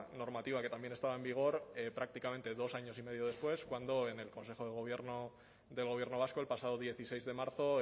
normativa que también estaba en vigor prácticamente dos años y medio después cuando en el consejo de gobierno del gobierno vasco el pasado dieciséis de marzo